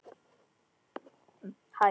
Sigrún, Þórdís og Kristín Líf.